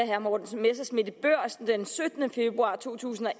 herre morten messerschmidt sagde i børsen den syttende februar to tusind og